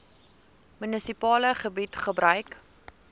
munisipale gebied gebruik